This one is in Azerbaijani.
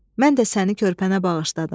Mən də səni körpənə bağışladım.